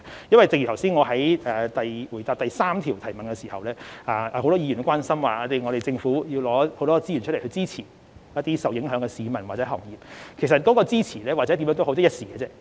因為正如我剛才在回答第三項質詢時，很多議員都關心政府要拿很多資源來支持一些受影響的市民或行業，而其實那些支持或甚麼政策也好，都只是一時而已。